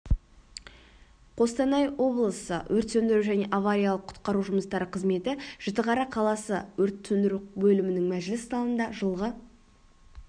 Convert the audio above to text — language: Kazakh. қостанай облысы өрт сөндіру және авариялық-құтқару жұмыстары қызметі жітіқара қаласы өрт сөндіру бөлімінің мәжіліс залында жылғы